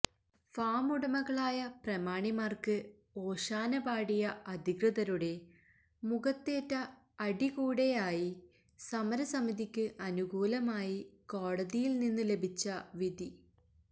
ഫാമുടമകളായ പ്രമാണിമാര്ക്ക് ഓശാന പാടിയ അധികൃതരുടെ മുഖത്തേറ്റ അടി കൂടെയായി സമര സമിതിക്ക് അനുകൂലമായി കോടതിയില് നിന്ന് ലഭിച്ച വിധി